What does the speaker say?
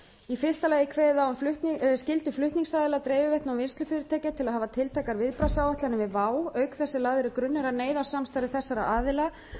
í fyrsta lagi er kveðið á um skyldu flutningsaðila dreifiveitna og vinnslufyrirtækja til að hafa tiltækar viðbragðsáætlanir við vá auk þess sem lagður er grunnur að neyðarsamstarfi þessara aðila